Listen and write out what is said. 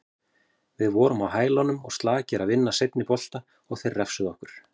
Við vorum á hælunum og slakir að vinna seinni bolta og þeir refsuðu okkur.